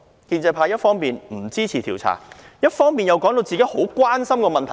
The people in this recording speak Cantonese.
建制派一方面不支持調查，另方面又把自己說得好像很關心這項問題般。